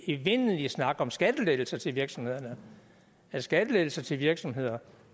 evindelige snak om skattelettelser til virksomhederne at skattelettelser til virksomheder